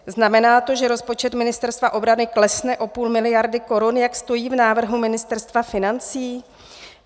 Znamená to, že rozpočet Ministerstva obrany klesne o půl miliardy korun, jak stojí v návrhu Ministerstva financí?